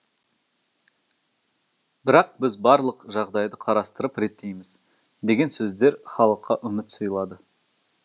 бірақ біз барлық жағдайды қарастырып реттейміз деген сөздер халыққа үміт сыйлады